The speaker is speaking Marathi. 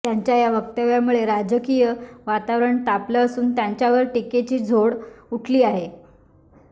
त्यांच्या या वक्तव्यामुळे राजकीय वातावरण तापलं असून त्यांच्यावर टीकेची झोड उठली आहे